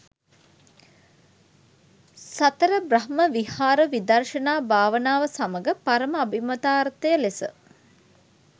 සතර බ්‍රහ්ම විහාර, විදර්ශනා භාවනාව සමඟ පරම අභිමතාර්ථය ලෙස